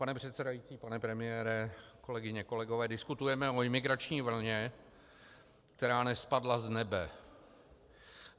Pane předsedající, pane premiére, kolegyně, kolegové, diskutujeme o imigrační vlně, která nespadla z nebe.